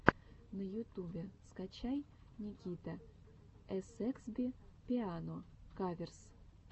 на ютубе скачай никитаэсэксби пиано каверс